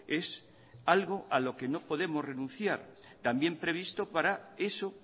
es algo a lo que no podemos renunciar también previsto para eso